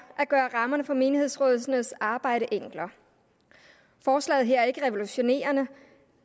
at gøre rammerne for menighedsrådenes arbejde enklere forslaget her er ikke revolutionerende